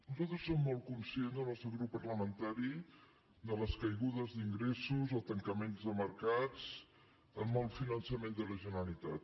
nosaltres som molt conscients el nostre grup parlamentari de les caigudes d’ingressos el tancament de mercats el mal finançament de la generalitat